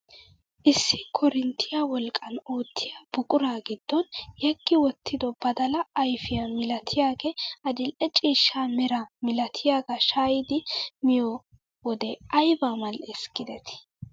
Issi korinttiyaa wolqqan oottiyaa buquraa giddon yeggi wottido badalaa ayfiyaa milatiyaagee adil'e ciishsha meraa milatiyaagaa shayidi miyoo wode ayba mal"ees gidetii.